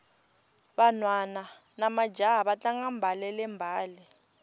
vanhwana namajaha va tlanga mbalele mbale